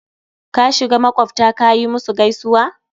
kashiga maƙwabta kayi musu gaisuwa?